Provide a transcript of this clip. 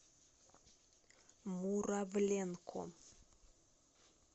муравленко